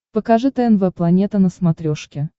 покажи тнв планета на смотрешке